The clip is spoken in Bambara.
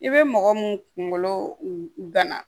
I bɛ mɔgɔ mun kunkolo gana